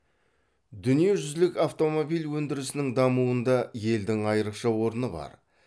дүниежүзілік автомобиль өндірісінің дамуында елдің айрықша орны бар